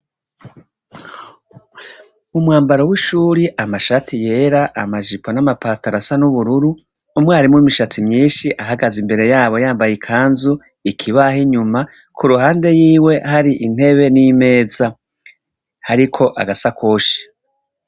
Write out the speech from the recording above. Umwambaro w'ishuri amashati yera amajipo n'amapataro asa n'ubururu umwarimu w'imishatsi myishi abahagaze imbere yambaye ikanzu ikibaho inyuma kuruhande rwiwe hari intebe n'imeza hariko agasakoshi .